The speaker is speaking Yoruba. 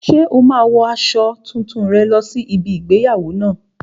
Ṣé o máa wo aṣọ tuntun rẹ lọ sí ibi igbéyàwó náà?